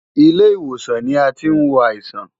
Ilé ìwòsàn ni a tí ń wo àìsàn.